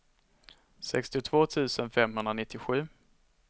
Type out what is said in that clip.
sextiotvå tusen femhundranittiosju